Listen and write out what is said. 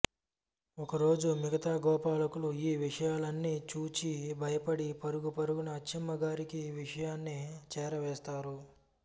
ఒకరోజు మిగతా గోపాలకులు ఈ విషయాలన్నీ చూచి భయపడి పరుగు పరుగున అచ్చమ్మ గారికి ఈ విషయాన్ని చేరవేస్తారు